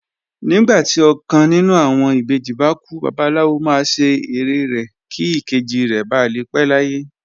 Nígbà tí ọkàn nínú àwọn ìbejì bá kú, Babaláwo máa ṣe ère rẹ̀ kí ìkejì rẹ̀ ba lè pé láyé